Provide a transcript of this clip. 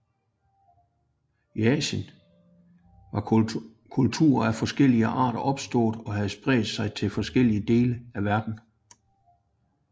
I Asien var kulturer af forskellig art opståede og havde spredt sig til forskellige dele af verden